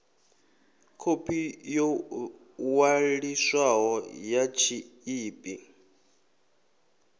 khophi yo ṅwaliswaho ya tshiḽipi